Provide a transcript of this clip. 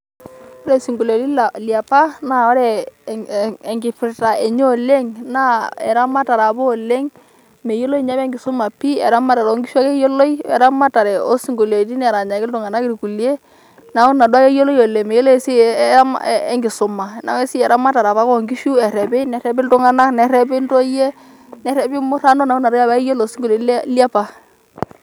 Ore isinkolioni liapa naa ore enkipirta enye ore oleng' naa eramatata apa oleng' meyioloi enye apa oleng' enkisuma pi' eramatare ok nkishu ake eyioloe weramatare oo sinkoliotin eranyaki iltung'anak irkulie neeku Ina apake eyioloe oleng' meyiolo apa oltung'anak eramatare enkisuma, eramatare apake oo nkishu errepi, nerrepi iltung'anak, nerrepi intoyie nerrepi murrano neeku Ina toki ake eyiolo esinkolitin liapa.